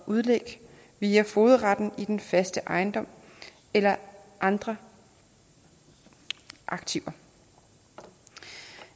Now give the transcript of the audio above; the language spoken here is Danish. udlæg via fogedretten i den faste ejendom eller andre aktiver